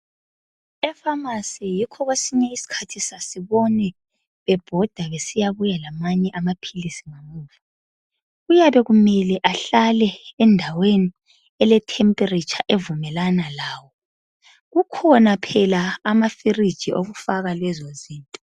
Efamasi yikho kwesinye isikhathi sasibone bebhoda besiyabuya lamanye amapilisi. Kuyabe kumele ehlale endaweni ele 'temperature ' avumelana lawo. Kukhona phela ama 'fridge ' okufaka lezo zinto.